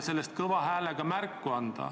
Sellest anti märku ka kõva häälega.